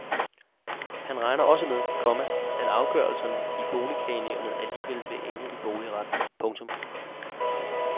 Han regner også med, komma at afgørelser i boligklagenævnet alligevel vil ende i boligretten. punktum